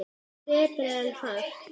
Betri en Hart?